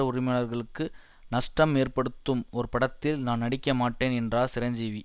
உரிமையாளர்களுக்கு நஷ்டம் ஏற்படுத்தும் ஒரு படத்தில் நான் நடிக்கமாட்டேன் என்றார் சிரஞ்சீவி